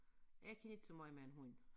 Jeg kan ikke så måj med en hund